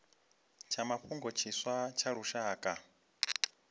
tsha mafhungo tshiswa tsha lushaka